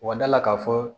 Wa da la k'a fɔ